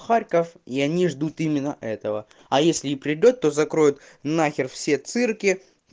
харьков и они ждут именно этого а если и придёт то закроет нахер все цирки